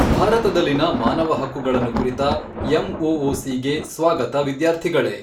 ಭಾರತದಲ್ಲಿನ ಮಾನವ ಹಕ್ಕುಗಳನ್ನು ಕುರಿತ ಎಮ್ಓಓಸಿ ಗೆ ಸ್ವಾಗತ ವಿದ್ಯಾರ್ಥಿಗಳೇ.